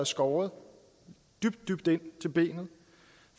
skåret dybt dybt ind til benet